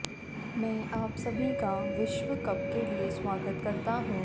मैं आप सभी का विश्व कप के लिए स्वागत करता हूं